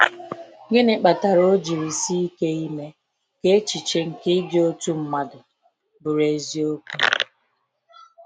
Gịnị kpatara o jiri sike ime ka echiche nke ịdị otu mmadụ bụrụ eziokwu?